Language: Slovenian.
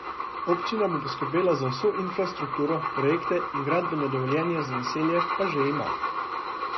Občina bo poskrbela za vso infrastrukturo, projekte in gradbeno dovoljenje za naselje pa že ima.